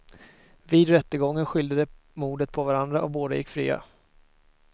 Vid rättegången skyllde de mordet på varandra och båda gick fria.